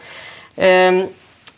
en